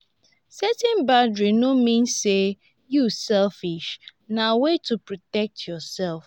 setting boundaries no mean say yu selfish na way to protect yursef.